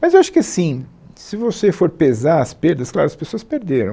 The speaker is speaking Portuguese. Mas eu acho que assim, se você for pesar as perdas, claro, as pessoas perderam.